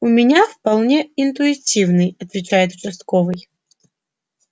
у меня вполне интуитивный отвечает участковый